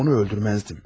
Onu öldürməzdim.